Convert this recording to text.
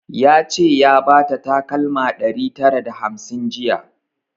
Ya ce ya bata takalma ɗari tara da hamsin jiya